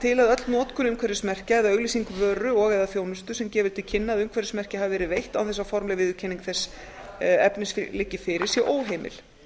til að öll notkun umhverfismerkja eða auglýsing vöru og eða þjónustu sem gefur til kynna að umhverfismerki hafi verið veitt án þess að formleg viðurkenning þess efnis liggi fyrir sé óheimil